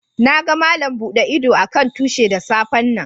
Na gan Malam bude ido a'kan tushi da safe'n nan.